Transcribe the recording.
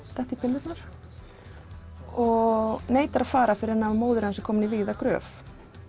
detta í pillurnar og neitar að fara fyrr en móðir hans er komin í vígða gröf